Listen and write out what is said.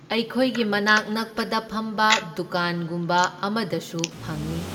ꯑꯩꯈꯣꯏꯒꯤ ꯃꯅꯥꯛ ꯅꯛꯄꯗ ꯐꯝꯕ ꯗꯨꯀꯥꯟꯒꯨꯝꯕ ꯑꯃꯗꯁꯨ ꯐꯪꯢ꯫